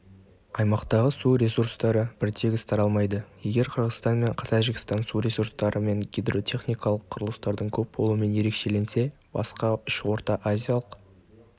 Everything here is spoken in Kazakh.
аймақтағы су ресурстары біртегіс таралмайды егер қырғызстан мен тәжікстан су ресурстары мен гидротехникалық құрылыстардың көп болуымен ерекшеленсе басқа үш орта-азиялық